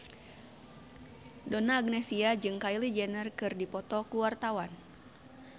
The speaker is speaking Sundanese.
Donna Agnesia jeung Kylie Jenner keur dipoto ku wartawan